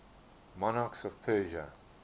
monarchs of persia